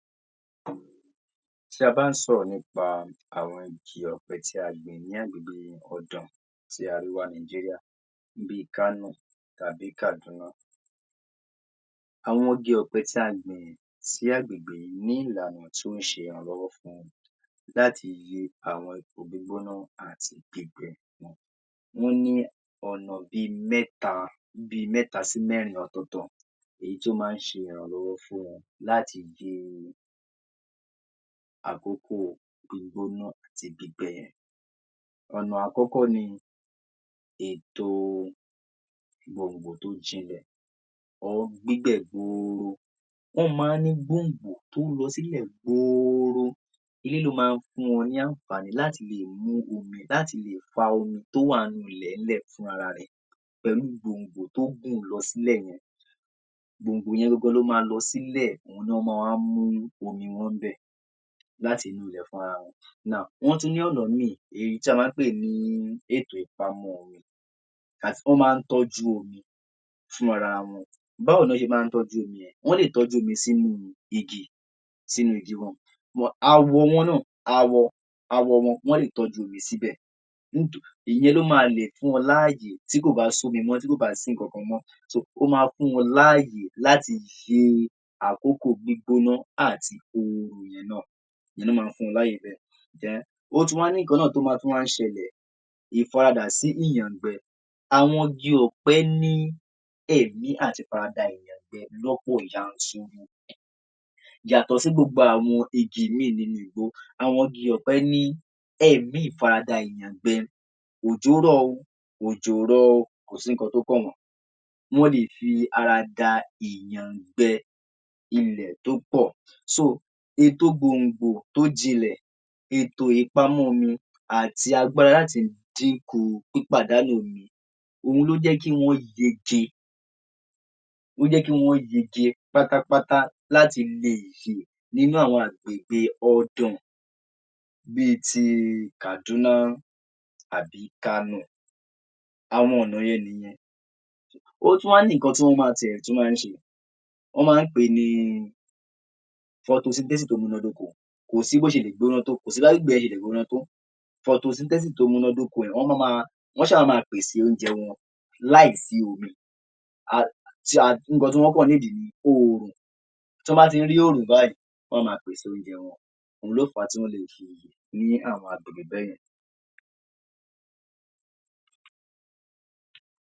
Tí a bá ń sọ̀rọ̀ nípa àwọn igi ọ̀pẹ tí a gbìn ní agbègbè ọ̀dàn ti arewa Nàìjíríà bí i Kano tàbí Kaduna, àwọn igi ọ̀pẹ tí a gbìn sí agbègbè yìí ní ìlànà tí ó ń ṣe ìrànlọ́wọ́ fún láti wọ́n ní ọ̀nà bí i mẹ́ta sí mẹ́rin ọ̀tọ̀ọ̀tọ̀ èyí tó máa ń ṣe ìrànlọ́wọ́ fún wọn láti àkókò gbígbóná àti gbígbẹ. ọ̀nà àkọ́kọ́ ni ètò gbòǹgbò tó jinlẹ̀ or. wọ́n máa ń ní gbòǹgbò tó lọ sílẹ̀ gbọọrọ èyí ló máa ń fún wọn ní àǹfàní láti lè mú omi láti lè fa omi tó wà nú ilẹ̀-ń-lẹ̀ fúnra ara rẹ̀ pẹ̀lú gbòǹgbò tó gùn lọ sílẹ̀ yẹn. Gbòǹgbò yẹn gangan ló máa lọ sílẹ̀ òun ni wọ́n máa wá mú omi wọn ńbẹ̀ láti fúnra wọn now wọ́n tún ní ọ̀nà míì tí a máa ń pè ní ètò ìpamọ́ omi. that wọ́n máa ń tọ́jú omi fúnra ara wọn. Báwo ni wọ́n ṣe máa ń tọ́jú omi yẹn? Wọ́n lè tọ́jú omi sínú igi sínú igi kan then awọ wọn náà awọ wọn, wọ́n lè tọ́jú omi síbẹ̀ ìyẹn ló máa lè fún wọn láàyè tí kò bá s’ómi mọ́, tí kò bá sí nǹkankan mọ́ ó máa fún wọn láàyè láti ṣe àkókò gbígbóná àti náà ìyẹn ló máa fún wọn láyè bẹ́ẹ̀ then ó tún wá ní ìkan náà tó tún máa ń ṣẹlẹ̀. Ìfaradà sí ìyàngbẹ, àwọn igi ọ̀pẹ ní ẹ̀mí àti farada ìyàngbẹ lọ́pọ̀ yanturu yàtọ̀ sí gbogbo àwọn igi míì nínú igbó àwọn igi ọ̀pẹ ní ẹ̀mí ìfarada ìyàngbẹ òjò rọ̀ o, òjò ò rọ̀ o kò sí nǹkan tó kàn wọ́n, wọ́n lè fi ara da ìyàngbẹ ilẹ̀ tó pọ̀ so ètò gbòngbò tó jinlẹ̀, ètò ìpamọ́ omi àti agbára láti dín kù pípàdánù omi òun ló jẹ́ kí wọ́n yege, ló jẹ́ kí wọ́n yege pátápátá láti lo nínú àwọn agbègbè ọdàn bí i ti Kaduna àbí Kano àwọn ọ̀nà yẹn nìyẹn. Ó tún wá ní nǹkan tí wọ́n tiẹ̀ tún máa ń ṣe, wọ́n máa ń pè ní photosynthesis tó múná dóko kò sí bí wọ́n ṣe lè gbbóná tó, kò sí bí agbègbè yẹn ṣe lè gbóná tó photosynthesis tó múná d’óko yẹn wọ́n máa ma wọ́n á ṣà máa pèsè oúnjẹ wọn láì sí omi um nǹkan tí wọ́n kàn need ni oòrùn, tí wọ́n bá ti ń rí oòrùn báyìí wọ́n á máa pèsè oúnjẹ wọn. Òun ló fà á tí wọ́n lè fi ní àwọn agbègbè bẹ́ẹ̀ yẹn.